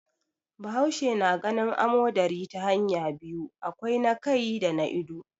Bahaushe na ganin amodari ta hanya biyu, akwai na kai da na ido.